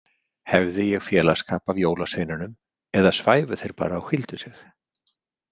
Hefði ég félagsskap af jólasveinunum eða svæfu þeir bara og hvíldu sig?